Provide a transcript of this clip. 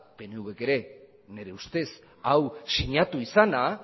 pnvk ere nire ustez hau sinatu izana